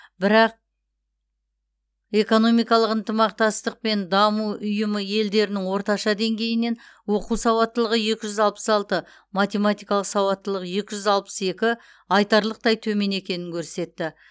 бірақ экономикалық ынтымақтастық пен даму ұйымы елдерінің орташа деңгейінен оқу сауаттылығы екі жүз алпыс алты математикалық сауаттылық екі жүз алпыс екі айтарлықтай төмен екенін көрсетті